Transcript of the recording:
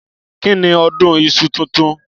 Kìní ọdún ìsú títùn?